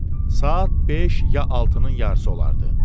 Saat beş ya altının yarısı olardı.